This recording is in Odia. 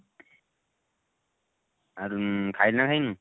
ଆଉ ଖାଇଲୁ ନା ଖାଇନୁ?